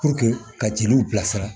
ka jeliw bilasira